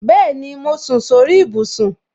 Bẹẹni, mo sùn sórí ibùsùn